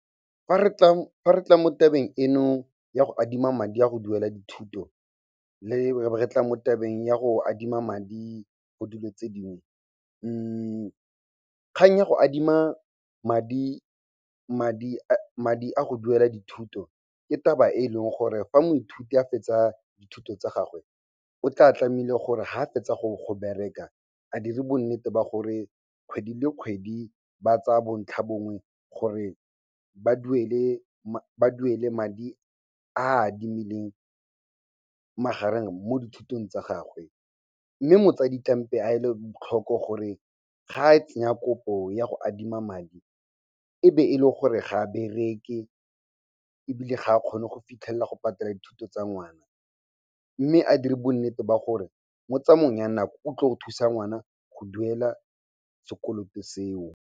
Fa re tla mo tabeng eno ya go adima madi a go duela dithuto, le re be re tla mo tabeng ya go adima madi mo dilong tse dingwe, kgang ya go adima madi a go duela dithuto, ke taba e leng gore fa moithuti a fetsa dithuto tsa gagwe, o tla tlamehile gore ga fetsa go bereka, a dire bonnete ba gore kgwedi le kgwedi ba tsaa bontlhabongwe gore ba duele madi a adimileng magareng mo dithutong tsa gagwe. Mme motsadi a ele tlhoko gore ga a tsenya kopo ya go adima madi, e be e le gore ga a bereke ebile ga a kgone go fitlhelela go patela dithuto tsa ngwana. Mme a dire bonnete ba gore mo tsamaong ya nako o go thusa ngwana go duela sekoloto seo.